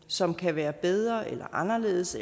som kan være bedre eller anderledes